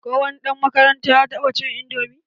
Ko wani ɗan makaranta ya taɓa cin indomi.